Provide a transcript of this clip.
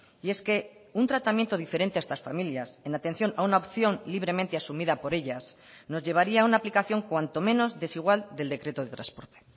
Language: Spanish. y es que un tratamiento diferente a estas familias en atención a una opción libremente asumida por ellas nos llevaría a una aplicación cuanto menos desigual del decreto de transporte